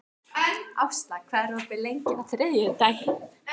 Ásla, hvað er opið lengi á þriðjudaginn?